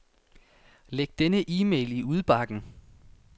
Læg denne e-mail i udbakken.